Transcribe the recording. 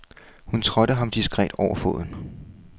Hun trådte ham diskret over foden.